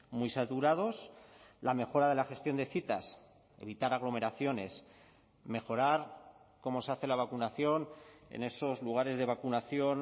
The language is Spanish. muy saturados la mejora de la gestión de citas evitar aglomeraciones mejorar como se hace la vacunación en esos lugares de vacunación